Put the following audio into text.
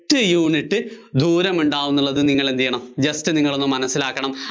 എത്ര unit ദൂരമുണ്ടാവുമെന്നുള്ളത് നിങ്ങള്‍ എന്തു ചെയ്യണം, just നിങ്ങളൊന്ന് മനസ്സിലാക്കണം.